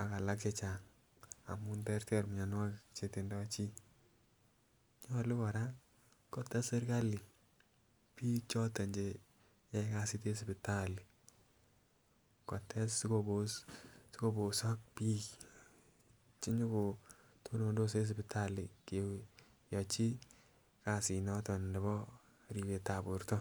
ak alak che Chang amun terter mionwokik chetindo chii. Nyolu Koraa kotes sirkali bik choton Chee cheyoe kasit en sipitali kotes sikoposok bik chenyokotonondok en sipitali koyochin kasit noton nebo ribet tab borto.